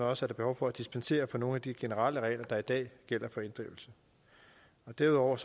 også behov for at dispensere fra nogle af de generelle regler der i dag gælder for inddrivelse derudover